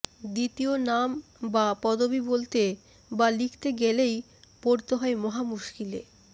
দ্বিতীয় নাম বা পদবী বলতে বা লিখতে গেলেই পড়তে হয় মহা মুশকিলে